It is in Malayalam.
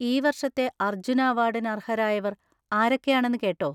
ഈ വർഷത്തെ അർജുന അവാർഡിന് അർഹരായവർ ആരൊക്കെയാണെന്ന് കേട്ടോ?